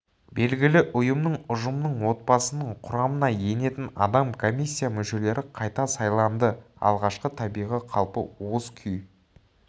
белгілі ұйымның ұжымның отбасының құрамына енетін адам комиссия мүшелері қайта сайланды алғашқы табиғи қалпы уыз күй